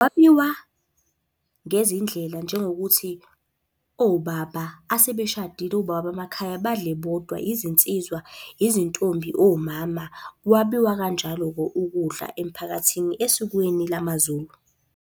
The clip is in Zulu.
Kwabiwa ngezindlela njengokuthi, obaba asebeshadile, obaba bamakhaya badle bodwa, izinsizwa, izintombi, omama. Kwabiwa kanjalo-ke ukudla emphakathini esikweni lamaZulu.